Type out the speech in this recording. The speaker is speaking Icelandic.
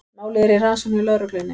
Málið er í rannsókn hjá lögreglunni